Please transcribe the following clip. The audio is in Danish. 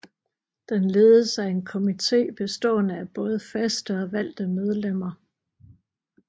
Den ledes af en komité bestående af både faste og valgte medlemmer